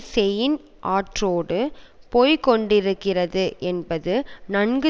Seine ஆற்றோடு போய் கொண்டிருக்கிறது என்பது நன்கு